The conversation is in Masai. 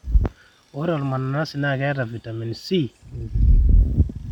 ore olmananasi naa keeta vitamin c tenkumoi.